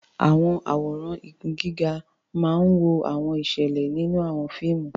Àwọn àwòrán igun gíga máa ń wo àwọn ìṣẹ̀lẹ̀ nínú àwọn fíìmù.